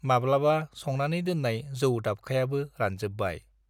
माब्लाबा संनानै दोननाय जौ दाबखायाबो रानजोब्बाय।